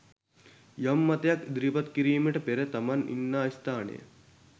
යම් මතයක් ඉදිරිපත් කිරීමට පෙර තමන් ඉන්නා ස්ථානය